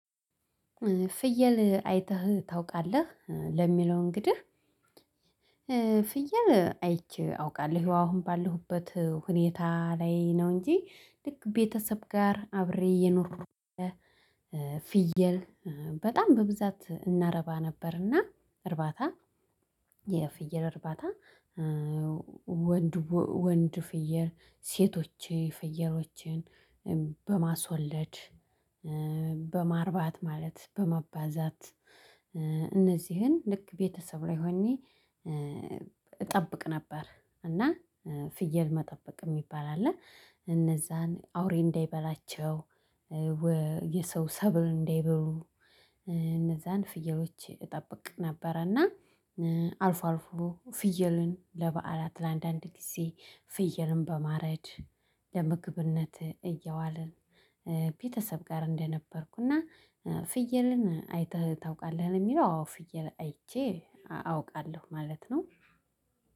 ፍየል አይተህ ታውቃለህ ለሚለው እንግዲህ? ፍየል አይቼ አውቃለሁ አሁን ባለሁበት ሁኔታ ላይ ነው እንጂ ልክ ቤተሰብ ጋር አብሬ እየኖርኩ እያለ። ፍየል በጣም በብዛት እናረባ ነበርና እርባታ የፍየል እርባታ። ወንድ ወንድ ፍየል ሴቶች ፍየሎችን በማስወለድ በማርባት ማለት በማባዛት። እነዚህን ልክ ቤተሰብ ላይ ሆኜ እጠብቅ ነበር። እና ፍየል መጠበቅ የሚባል አለ። እነዛን አውሬ እንዳይበላቸው የሰው ሰብል እንዳይበሉ እነዛን ፍየሎች እጠብቅ ነበረና። እና አልፎ አልፎ ፍየልን ለበዓላት ለአንዳንድ ጊዜ ፍየልን በማረድ ለምግብነት እየዋለ። ቤተሰብ ጋር እንደነበርኩ እና ፍየልን አይተህ ታውቃለህ የሚለው? አዎ ፍየል አይቼ አውቃለሁ ማለት ነው።